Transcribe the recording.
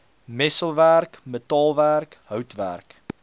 messelwerk metaalwerk houtwerk